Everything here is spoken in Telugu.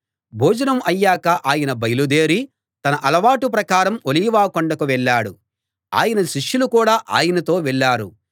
భోజనం అయ్యాక ఆయన బయల్దేరి తన అలవాటు ప్రకారం ఒలీవ కొండకు వెళ్ళాడు ఆయన శిష్యులు కూడా ఆయనతో వెళ్ళారు